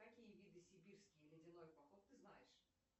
какие виды сибирский ледяной поход ты знаешь